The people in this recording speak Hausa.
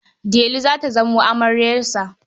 Delu za ta zamo amaryarsa.